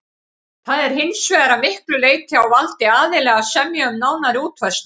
Það er hins vegar að miklu leyti á valdi aðila að semja um nánari útfærslu.